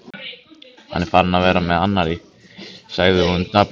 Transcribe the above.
Hann er farinn að vera með annarri, sagði hún dapurlega.